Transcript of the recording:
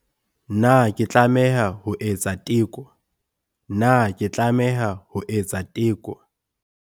Na ke tlameha ho etsa teko Na ke tlameha ho etsa teko.